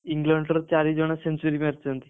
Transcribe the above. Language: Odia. ଇଂଲଣ୍ଡର ଚାରି ଜଣ century ମାରିଛନ୍ତି।